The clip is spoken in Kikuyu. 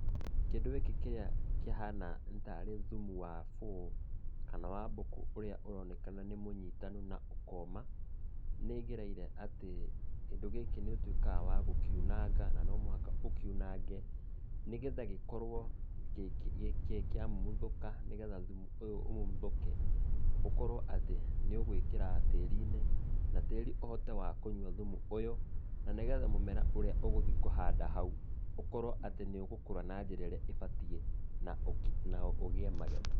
Kĩndũ gĩkĩ kĩrĩa kĩhana tarĩ thumu wa bũũ, kana wa mbũkũ ũrĩa ũronekana nĩ mũnyitanu na ũkoma, nĩ ĩgereire atĩ kĩndũ gĩkĩ nĩ ũtuĩkaga wa gũkiunanga, na nomũhaka ũkiunange, nĩgetha gĩkorwo kĩamumuthũka, nĩgetha thĩmũ ũyũ ũmumuthũke, ũkorwo atĩ nĩ ũgũĩkĩra tĩri-inĩ, na tĩri ũhote wa kũnyua thumu ũyũ, na nĩgetha mũmera ũrĩa ũgũthiĩ kũhanda hau, ũkorwo atĩ nĩ ũgũkũra na njĩra ĩrĩa ũbatiĩ, na ũgĩe magetha.